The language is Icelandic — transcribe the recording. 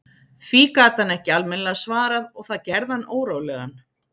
Því gat hann ekki almennilega svarað og það gerði hann órólegan.